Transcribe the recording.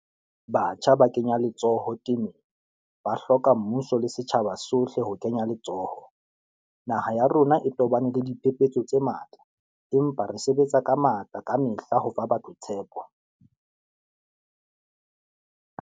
Batjha ba kenya letsoho temeng, ba hloka mmuso le setjhaba sohle ho kenya letsoho. Naha ya rona e tobane le diphephetso tse matla, empa re sebetsa ka matla kamehla ho fa batho tshepo.